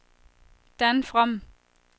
Dan From